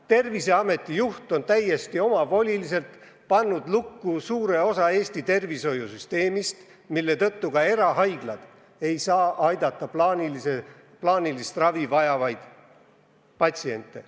Terviseameti juht on täiesti omavoliliselt pannud lukku suure osa Eesti tervishoiusüsteemist, mille tõttu isegi erahaiglad ei saa aidata plaanilist ravi vajavaid patsiente.